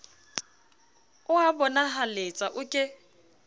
o a bonahaletsa o ke